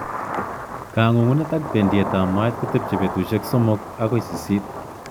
Kangungunet ak bendietab moet kotebche betusiek somok akoi sisit